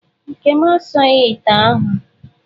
Nkem asaghị ite ahụ.